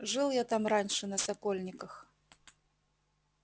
жил я там раньше на сокольниках